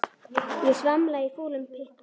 Ég svamla í fúlum pytti.